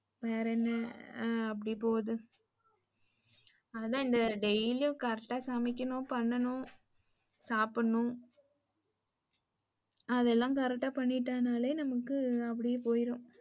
வேற என்ன ஆ அப்டியே போது அதான் இந்த daily உம் correct ஆ சமைக்கணும் பண்ணனும் சாப்டனும் அதெல்லாம் correct ஆ பண்ணிட்டனாலே நமக்கு அப்டியே போயிரும்.